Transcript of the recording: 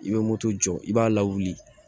I bɛ moto jɔ i b'a lawuli